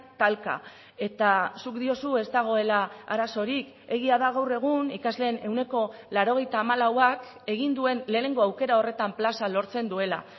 talka eta zuk diozu ez dagoela arazorik egia da gaur egun ikasleen ehuneko laurogeita hamalauak egin duen lehenengo aukera horretan plaza lortzen duela